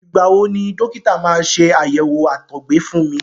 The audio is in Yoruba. Ìgbà wo ni dọ́kítà máa ṣe àyẹ̀wò àtọgbẹ fún mi.